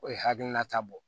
O ye hakilina ta bɔ